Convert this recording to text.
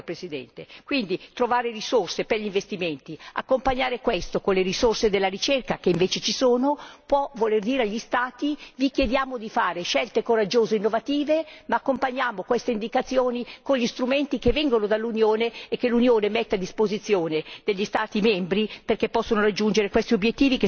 Quindi, trovare risorse per gli investimenti affiancandole con le risorse della ricerca, che invece ci sono, può voler dire agli Stati vi chiediamo di fare scelte coraggiose e innovative, ma accompagniamo queste indicazioni con gli strumenti che vengono dall'Unione e che l'Unione mette a disposizione degli Stati membri perché possano raggiungere questi obiettivi che sono di tutta l'Unione europea.